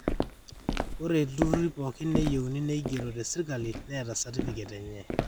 ore ilturrurri pooki neyieuni neigero tesirkali neeta satifiket enye